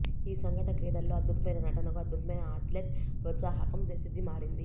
ఈ సంఘటన క్రీడల్లో అద్భుతమైన నటనకు అద్భుతమైన అథ్లెట్ ప్రోత్సాహకం ప్రసిద్ధి మారింది